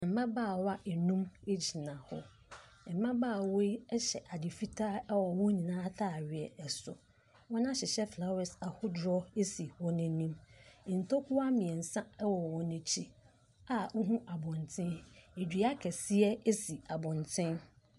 Mmabaawa nnum gyina hɔ. Mmabaawa yi hyɛ ade fitaa wɔ wɔn nyinaa atadeɛ so. Wɔahyehyɛ flowers ahodoɔ si wɔn anim. Ntokua mmeɛnsa wɔ wɔ akyi a wohunu abɔntene. Dua kɛseɛ si abɔntene.